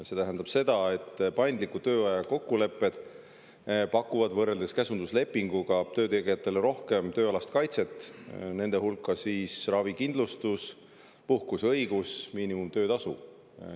See tähendab seda, et paindliku tööaja kokkulepped pakuvad võrreldes käsunduslepinguga töötegijatele rohkem tööalast kaitset, selle hulka käib ravikindlustus, puhkuseõigus ja miinimumtöötasu.